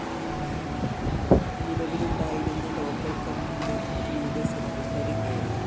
നിലവിലുണ്ടായിരുന്ന local‍ കമ്മറിയുടെ secretary A